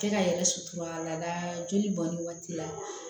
Cɛ ka yɛrɛ suturala joli bɔnni waati la